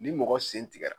Ni mɔgɔ sen tigɛra